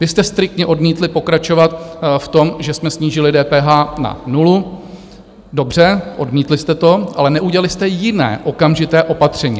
Vy jste striktně odmítli pokračovat v tom, že jsme snížili DPH na nulu, dobře, odmítli jste to, ale neudělali jste jiné okamžité opatření.